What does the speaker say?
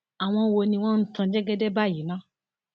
àwọn wo ni wọn ń tan jẹgẹdẹ báyìí ná